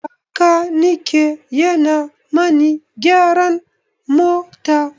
Bakanike yana mani gyaran mota.